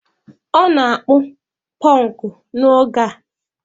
Ọ na-akpụ pọnkụ n' oge a.